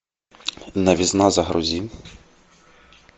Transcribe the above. новизна загрузи